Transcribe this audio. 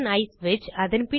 i ஸ்விட்ச்